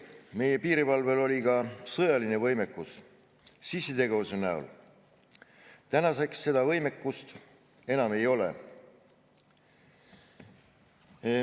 Meie piirivalvel oli ka sõjaline võimekus sissitegevuse näol, tänaseks seda võimekust enam ei ole.